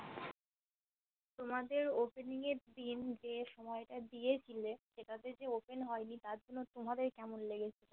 তোমাদের Opening এর দিন যে সময়টা দিয়েছিলে সেটাতে যে Open হয়নি তার জন্য তোমাদের কেমন লেগেছিল?